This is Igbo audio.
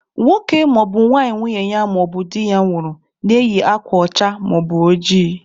Nwoke maọbụ nwanyị nwunye ya maọbụ di ya nwụrụ na-eyi akwa ọcha maọbụ ojii.